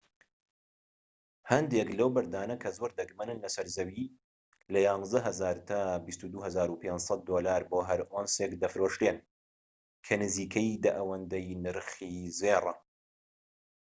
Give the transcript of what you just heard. هەندێک لەو بەردانە کە زۆر دەگمەنن لەسەر زەوی لە 11,000 تا 22,500 دۆلار بۆ هەر ئۆنسێک دەفرۆشرێن کە نزیکەی دە ئەوەندەی نرخی زێڕە